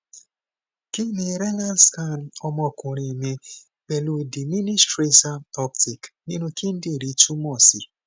kí ni renal scan ọmọkunrin mi pelu diminished tracer uptake ninu kindinrin tumo si